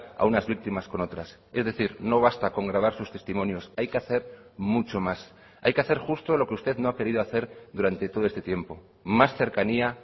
a unas víctimas con otras es decir no basta con grabar sus testimonios hay que hacer mucho más hay que hacer justo lo que usted no ha querido hacer durante todo este tiempo más cercanía